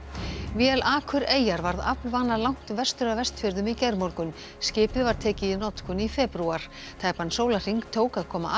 vél Akureyjar varð langt vestur af Vestfjörðum í gærmorgun skipið var tekið í notkun í febrúar tæpan sólarhring tók að koma